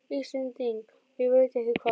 Íslending og ég veit ekki hvað!